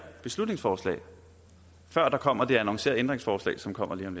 beslutningsforslag før der kommer det annoncerede ændringsforslag som kommer lige om